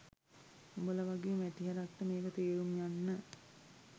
උඹල වගේ මැටි හරක්ට මේක තේරුම් යන්න